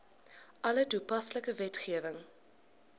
alle toepaslike wetgewing